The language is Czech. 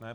Ne.